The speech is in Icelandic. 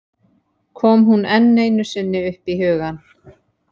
Kom hún enn einu sinni upp í hugann!